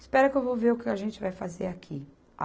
Espera que eu vou ver o que a gente vai fazer aqui.